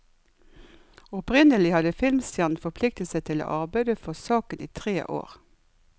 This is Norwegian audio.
Opprinnelig hadde filmstjernen forpliktet seg til å arbeide for saken i tre år.